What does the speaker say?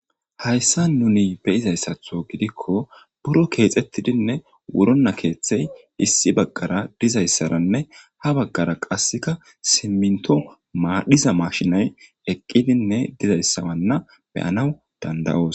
hayssan nuni beyizayssaththo gidikko buro keexettidinne wurona keeththey issi baggara dizayssaranne ha baggara qasseka siimiinto madiza mashinay eqqidinne dizayssawanna beyanaw dandayoos